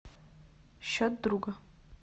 счет друга